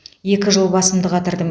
екі жыл басымды қатырдым